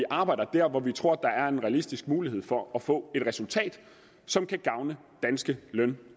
arbejder der hvor vi tror der er en realistisk mulighed for at få et resultat som kan gavne danske løn